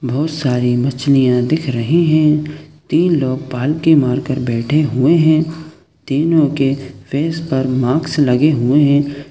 बहुत सारी मछलिया दिख रही है तीन लोग पालटी मार कर बैठे हुए है तीनो के फेस पर मास्क लगे हुए है।